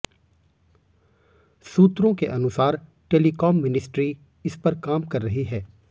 सूत्रों के अनुसार टेलिकॉम मिनिस्ट्री इस पर काम कर रही है